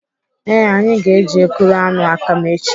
Ee, anyị ga-eji ekuru aṅụ akam echi.